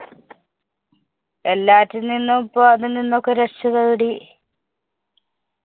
എല്ലാറ്റില്‍ നിന്നും ഇപ്പൊ അതില്‍ നിന്നൊക്കെ രക്ഷ നേടി.